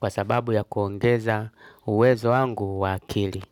Kwa sababu ya kuongeza uwezo wangu wa akili.